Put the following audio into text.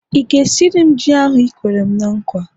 ị ga-esiri m ji ahu i kwere'm nkwa?